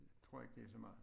Tror ikke det så meget